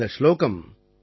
அந்த சுலோகம்